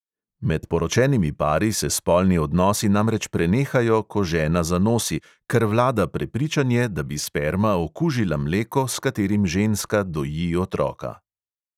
Med poročenimi pari se spolni odnosi namreč prenehajo, ko žena zanosi, ker vlada prepričanje, da bi sperma okužila mleko, s katerim ženska doji otroka.